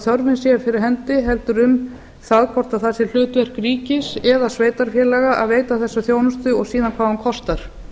þörfin sé fyrir hendi heldur um það hvort það sé hlutverk ríkis eða sveitarfélaga að veita þessa þjónustu og síðan hvað hún kostar